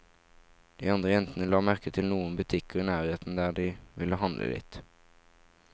De andre jentene la merke til noen butikker i nærheten der de ville handle litt.